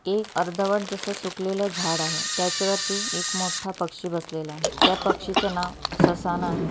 एक अर्धवट जस सुखलेल झाड आहे त्याच्या वरती एक मोठ पक्षी बसलेला आहे त्या पक्षी च नाव ससाना आहे.